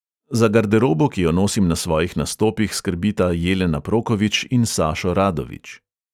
Za garderobo, ki jo nosim na svojih nastopih, skrbita jelena prokovič in sašo radovič.